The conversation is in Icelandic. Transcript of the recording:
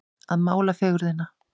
Að mála fegurðina